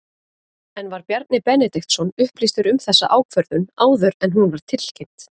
En var Bjarni Benediktsson upplýstur um þessa ákvörðun áður en hún var tilkynnt?